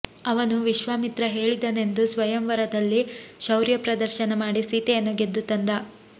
ಅವನು ವಿಶ್ವಾಮಿತ್ರ ಹೇಳಿದನೆಂದು ಸ್ವಯಂವರದಲ್ಲಿ ಶೌರ್ಯ ಪ್ರದರ್ಶನ ಮಾಡಿ ಸೀತೆಯನ್ನು ಗೆದ್ದು ತಂದ